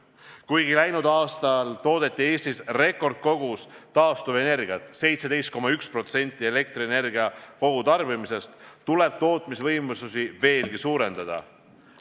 Kuigi läinud aastal toodeti Eestis rekordkogus taastuvenergiat – 17,1% elektrienergia kogutarbimisest –, tuleb neid tootmisvõimalusi veelgi suurendada.